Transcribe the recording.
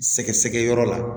Sɛgɛsɛgɛyɔrɔ la